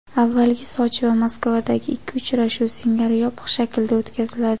avvalgi Sochi va Moskvadagi ikki uchrashuv singari yopiq shaklda o‘tkaziladi.